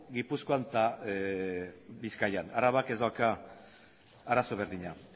gipuzkoan eta bizkaian arabak ez dauka arazo berdina